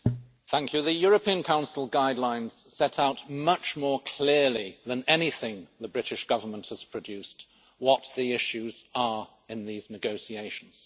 Madam President, the European Council guidelines set out much more clearly than anything the British Government has produced what the issues are in these negotiations.